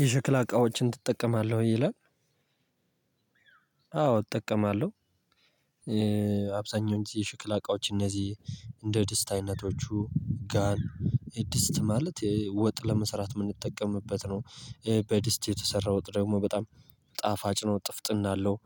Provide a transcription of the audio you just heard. የሽክላ እቃዎችን ትጠቀማለህ ይላል? አዎ እጠቀማለሁ። አብዛኛው ጊዜ የሽክላ እቃዎች እነዚህ እንደ ድስት አይነቶቹ ድስት ማለት ወጥ ለመስራት የምንጠቀምበት ነው። በድስት የተሰራ ወጥ ደግሞ በጣም ጣፋጭ ነው ጥፍጥና አለው።